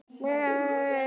Er aldrei sól hérna, amma?